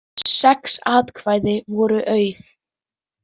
Sex atkvæði voru auð